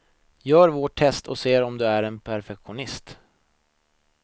Gör vårt test och se om du är en perfektionist.